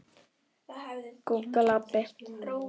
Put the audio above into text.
Þór tekur undir þetta.